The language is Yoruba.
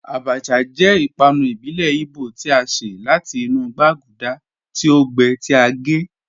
Àbàchà jẹ́ ìpànù ìbílẹ̀ Ìgbò tí a ṣẹ̀ láti inú gbàgúdà tí o gbẹ́, tí a gẹ́